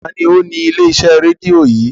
Ta ni ó ni ilé-iṣẹ́ rédíò yìí?